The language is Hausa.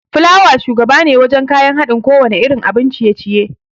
Fulawa shugabane wajan kayan haɗin kowanne irin abin ciye-ciye